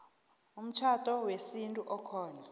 umtjhado wesintu okhona